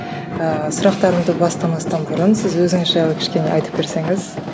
ыыы сұрақтарымды бастамастан бұрын сіз өзіңіз жайлы кішкене айтып берсеңіз